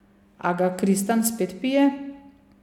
A ga Kristan spet pije?